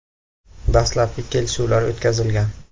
Dastlabki kelishuvlar o‘tkazilgan.